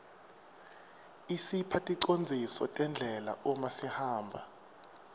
isipha ticondziso tendlela uma sihamba